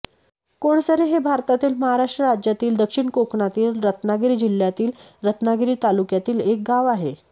कोळसरे हे भारतातील महाराष्ट्र राज्यातील दक्षिण कोकणातील रत्नागिरी जिल्ह्यातील रत्नागिरी तालुक्यातील एक गाव आहे